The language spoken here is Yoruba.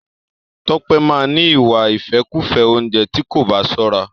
Tọ́pẹ́ máa ni ìwà ìfẹ́kùfẹ́ oúnjẹ tí kò bá sọ́ra.